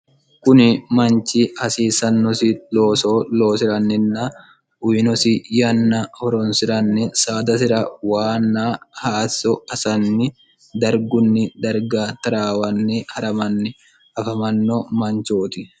kuni manchi hasiissannosi looso loosi'ranninna uyinosi yanna horonsi'ranni saadasira waanna haasso asanni dargunni darga taraawanni ha'ramanni afamanno manchooti